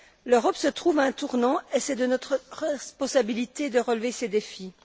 L'Europe se trouve à un tournant et il est de notre responsabilité de relever ces défis.